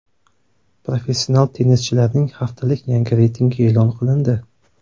Professional tennischilarning haftalik yangi reytingi e’lon qilindi.